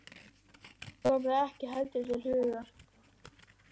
Eddu kom það ekki heldur til hugar.